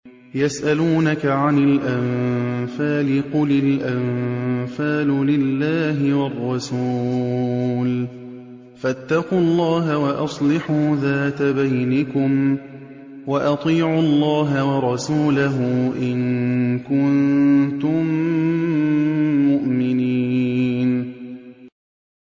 يَسْأَلُونَكَ عَنِ الْأَنفَالِ ۖ قُلِ الْأَنفَالُ لِلَّهِ وَالرَّسُولِ ۖ فَاتَّقُوا اللَّهَ وَأَصْلِحُوا ذَاتَ بَيْنِكُمْ ۖ وَأَطِيعُوا اللَّهَ وَرَسُولَهُ إِن كُنتُم مُّؤْمِنِينَ